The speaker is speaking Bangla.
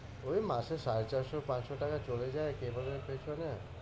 ওই মাসে সাড়ে চারশো-পাঁচশো টাকা চলে যায় cable এর পেছনে।